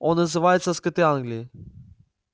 он называется скоты англии